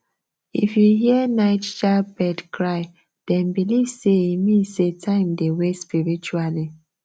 if you hear nightjar bird cry dem believe say e mean say time dey waste spiritually